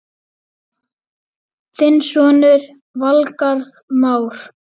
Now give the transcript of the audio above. Þinn sonur, Valgarð Már.